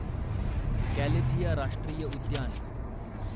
Galathea राष्ट्रीय उद्यान